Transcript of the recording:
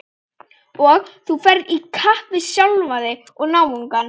Og þú ferð í kapp við sjálfan þig og náungann.